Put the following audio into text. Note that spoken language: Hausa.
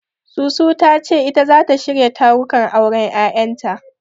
Susu ta ce ita zata shirya tarukan auren Yayanta.